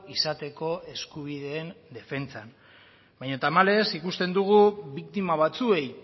izateko eskubideen defentsan baina tamalez ikusten dugu biktima batzuei